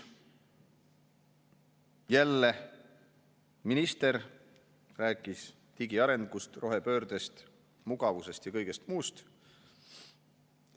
Jälle minister rääkis digiarengust, rohepöördest, mugavusest ja kõigest muust.